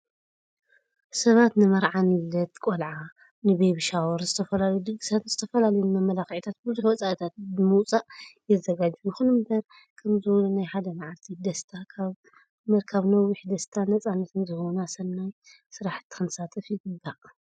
ሰባት ንመርዓ፣ ንልደት ቆርዓ፣ ንቢቢ ሻወርን ዝተፈላለዩ ድግሳትን ዝተፈላለዩ ንመመላክዒታት ብዙሕ ወፃእታት ብንምውፃእ የዘጋጅው። ይኹን እምበር ከምዚ ዝበሉ ናይ ሓደ መዓልቲ ደስታ ካብ ምርካብ ነዋሕቲ ደስታን ነፃነትን ዝህቡና ሰናይ ስራሕቲ ክንሳተፍ ይግባእ።